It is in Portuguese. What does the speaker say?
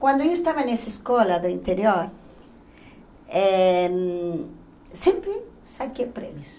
Quando eu estava nessa escola do interior, eh sempre saquei prêmios.